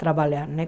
Trabalhar, né?